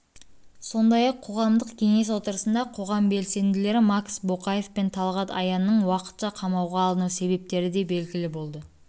сондай-ақ қоғамдық кеңес отырысында қоғам белсенділері макс боқаев пенталғат аянныңуақытша қамауға алыну себептері де белгілі болды